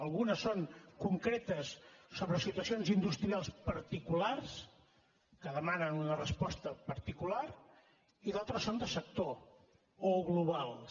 algunes són concretes sobre situacions industrials particulars que demanen una resposta particular i d’altres són de sector o globals